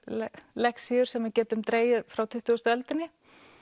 lexíur sem við getum dregið frá tuttugustu öldinni